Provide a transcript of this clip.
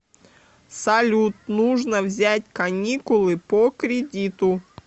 салют нужно взять каникулы по кредиту